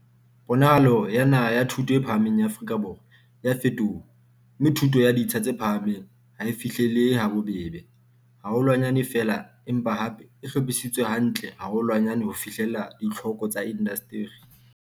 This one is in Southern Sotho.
Ponahalo ya naha ya thuto e phahameng ya Afrika Borwa e a fetoha, mme thuto ya ditsha tse phahameng ha e fihlele he habobebe haholwanyane feela empa hape e hlophisi tswe hantle haholwanyane ho fihlella ditlhoko tsa inda steri.